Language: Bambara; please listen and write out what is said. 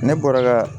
Ne bɔra ka